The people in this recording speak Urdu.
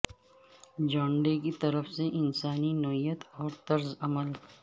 جان ڈے کی طرف سے انسانی نوعیت اور طرز عمل